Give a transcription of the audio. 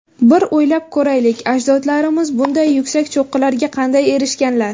Bir o‘ylab ko‘raylik, ajdodlarimiz bunday yuksak cho‘qqilarga qanday erishganlar?